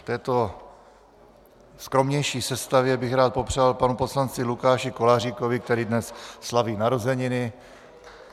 V této skromnější sestavě bych rád popřál panu poslanci Lukáši Koláříkovi, který dnes slaví narozeniny.